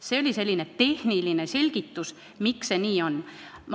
See oli tehniline selgitus, miks see nii on.